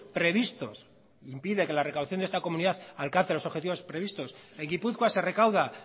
previstos impide que la recaudación de esta comunidad alcance los objetivos previstos en gipuzkoa se recauda